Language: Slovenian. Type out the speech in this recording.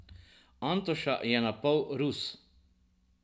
Antoša je pa napol Rus.